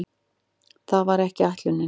Það var ekki ætlunin.